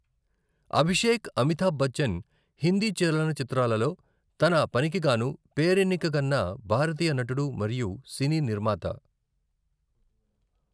అభిషేక్ అమితాభ్ బచ్చన్ హిందీ చలనచిత్రాలలో తన పనికిగాను పేరెన్నికగన్న భారతీయ నటుడు మరియు సినీ నిర్మాత.